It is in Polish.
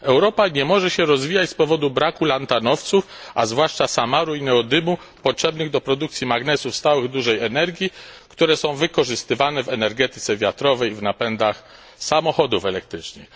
Europa nie może się rozwijać z powodu braku lantanowców, a zwłaszcza samaru i neodymu potrzebnych do produkcji magnesów stałych dużej energii, które są wykorzystywane w energetyce wiatrowej i napędach samochodów elektrycznych.